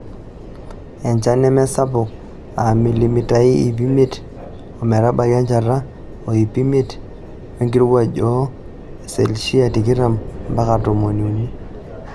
Enchan nemesaouk aa milimitai iip imiet ometabaiki enchata oo iip imiet wenkirowuj oo selshia tikitam mpaka tomoniuni.